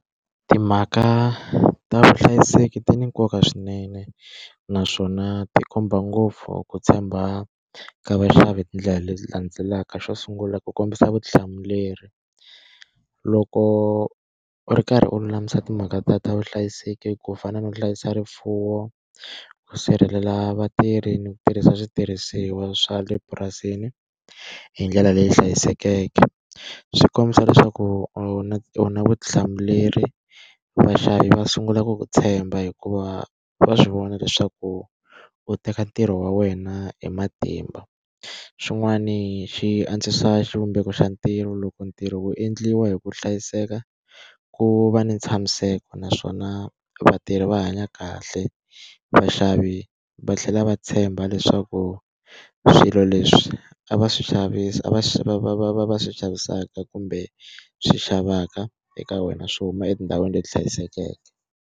Timhaka ta vuhlayiseki ti ni nkoka swinene naswona ti komba ngopfu ku tshemba ka vaxavi hi tindlela leti landzelaka. Xo sungula ku kombisa vutihlamuleri. Loko u ri karhi u lulamisa timhaka ta ta vuhlayiseki ku fana no hlayisa rifuwo, ku sirhelela vatirhi, ni ku tirhisa switirhisiwa swa le purasini hi ndlela leyi hlayisekeke, swi kombisa leswaku u na u na vutihlamuleri. Vaxavi va sungula ku ku tshemba hikuva va swi vona leswaku u teka ntirho wa wena hi matimba. Xin'wani xi antswisa xivumbeko xa ntirho loko ntirho wu endliwa hi ku hlayiseka, ku va ni ntshamiseko naswona vatirhi va hanya kahle. Vaxavi va tlhela va tshemba leswaku swilo leswi a va swi xavisa a va swi va v a va va swi xavisaka kumbe swi xavaka eka wena swi huma etindhawini leti hlayisekeke.